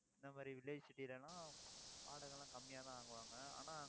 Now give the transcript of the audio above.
இந்த மாதிரி village city ல எல்லாம், வாடகை எல்லாம் கம்மியாதான் வாங்குவாங்க ஆனா